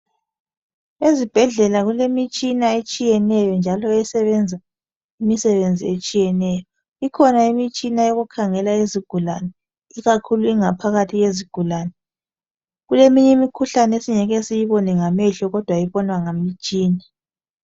Ezibhedlela kulemitshina etshiyeneyo njalo esebenza imisebenzi etshiyeneyo. Ikhona imitshina eyokukhangela izigulane ikakhulu ingaphakathi yezigulane. Kuleminye imikhuhlane esingeke siyibone ngamehlo kodwa ebonwa ngemtshina.